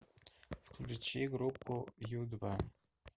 включи группу ю два